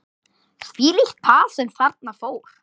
Þvílíkt par sem þarna fór.